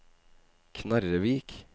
Knarrevik